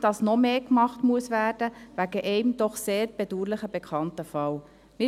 Deshalb sehen wir nicht, dass aufgrund eines doch sehr bedauerlichen bekannten Falls noch mehr gemacht werden muss.